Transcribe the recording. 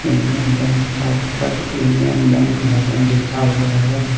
Union bank का ऊपर union bank भवन लिखा हुआ है।